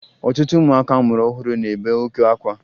Ọtụtụ ụmụaka a mụrụ ọhụrụ na-ebe oke akwa